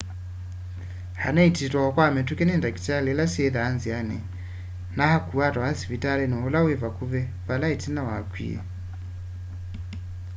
anaiitiwe o kwa mituki ni ndakitali ila syithwaa nziani na akuwa atwawa sivitali ula wi vakuvi vala itina wakwie